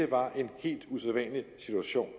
var en helt usædvanlig situation